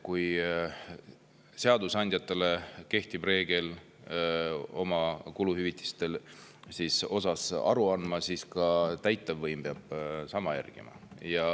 Kui seadusandjatele kehtib reegel, et oma kuluhüvitistest aru anda, siis ka täitevvõim peab seda järgima.